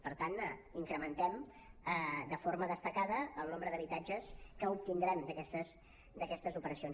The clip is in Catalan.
per tant incrementem de forma destacada el nombre d’habitatges que obtindrem d’aquestes operacions